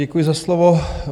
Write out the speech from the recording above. Děkuji za slovo.